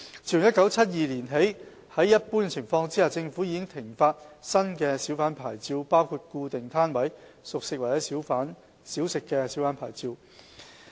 自1972年起，在一般情況下，政府已停發新小販牌照包括固定攤位小販牌照。